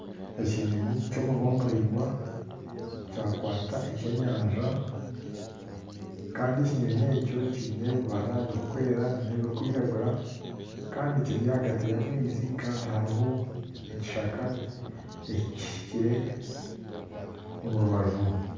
Ekinyonyi ky'omunwa miraingwa kyakwata eky'enyanja kandi ekinyonyi ekyo kyine ebibara birukwera n'ebirukwiragura kandi Kiri ahagati y'amaizi kandi haruho ekishaka ekihikire omurubaju.